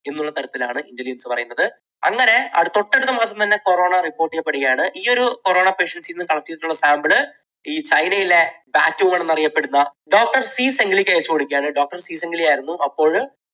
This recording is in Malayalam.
എന്നുള്ള തരത്തിലാണ് intelligence പറയുന്നത്. അങ്ങനെ തൊട്ടടുത്ത മാസം തന്നെ corona report ചെയ്യപ്പെടുകയാണ്. ഈയൊരു corona patients നിന്ന് collect ചെയ്തിട്ടുള്ള sample ഈ ചൈനയിലെ flat എന്നറിയപ്പെടുന്ന doctor ഷി സെങ്ഗ്ലിക്ക് മിൽക്ക് അയച്ചു കൊടുക്കുകയായിരുന്നു. doctor ഷി സെങ്ഗ്ലി ആയിരുന്നു അപ്പോൾ